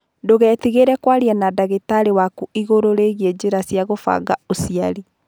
Ndũgetigĩre kwaria na ndagĩtarĩ waku igũrũ rĩgiĩ njĩra cia kũbanga ũciari.